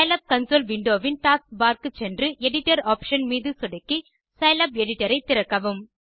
Scilab console window வின் taskbar க்குச் சென்று எடிட்டர் ஆப்ஷன் மீது சொடுக்கி சிலாப் எடிட்டர் ஐ திறக்கவும்